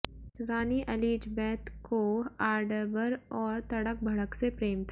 रानी Elizabeth को आर्डबर और तड़क भड़क से प्रेम था